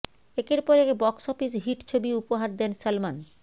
একের পর এক বক্স অফিস হিট ছবি উপহার দেন সলমন